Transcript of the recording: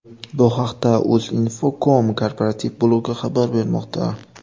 Bu haqda Uzinfocom korporativ blogi xabar bermoqda .